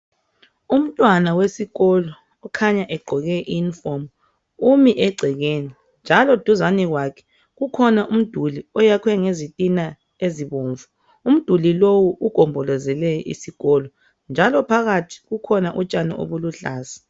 Umtwana wesikolo , ukhanya egqoke I uniform , umi egcekeni njalo duzani kwakhe kukhona umduli oyakhwe ngezitina ezibomvu , umduli lowu ugombolozele isikolo njalo phakathi kukhona utshani obuluhlaza